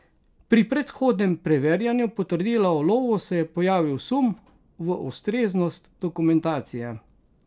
Pri predhodnem preverjanju potrdila o ulovu se je pojavil sum v ustreznost dokumentacije.